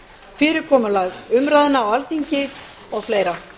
fyrirkomulag umræðna á alþingi og fleira